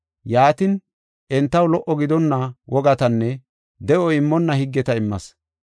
Yaatin, entaw lo77o gidonna wogatanne de7o immonna higgeta immas.